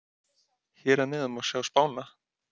Hér að neðan má sjá spána.